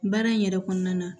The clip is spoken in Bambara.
Baara in yɛrɛ kɔnɔna na